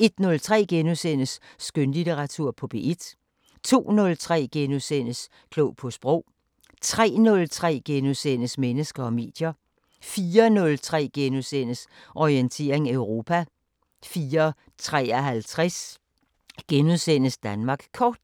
01:03: Skønlitteratur på P1 * 02:03: Klog på Sprog * 03:03: Mennesker og medier * 04:03: Orientering Europa * 04:53: Danmark Kort *